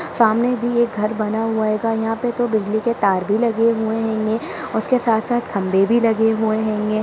सामने भी एक घर बना हुआ हेगा यहां पे तो बिजली के तार भी लगे हुए हेंगे उसके साथ-साथ खंबे भी लगे हुए हेंगे।